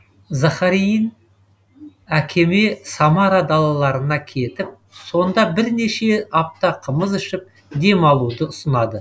захарьин әкеме самара далаларына кетіп сонда бірнеше апта қымыз ішіп демалуды ұсынады